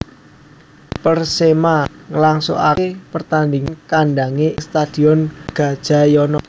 Persema ngelangsungake pertandingan kandange ing Stadion Gajayana